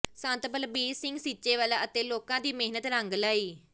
ਸੰਤ ਬਲਬੀਰ ਸਿੰਘ ਸੀਚੇਵਾਲ ਅਤੇ ਲੋਕਾਂ ਦੀ ਮਿਹਨਤ ਰੰਗ ਲਿਆਈ